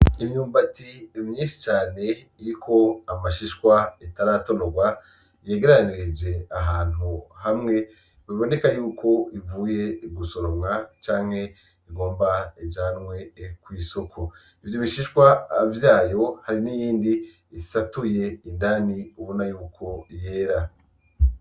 Imyumbati myinshi cane iriko amashishwa itaratonorwa yegeranirije ahantu hamwe biboneka yuko ivuye gusoromwa canke igomba ijanwe kw'isoko. Ivyo bishishwa vyayo, hari n'iyindi isatuye indani ubona yuko yera.